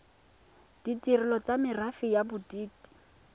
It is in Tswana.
ditirelo tsa merafe ya bodit